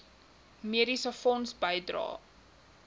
mediese fonds bydrae